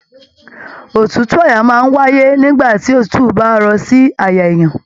Òtútù àyà máa n wáyé nígbà tí òtútù bá rọ̀ sí àyà èèyàn.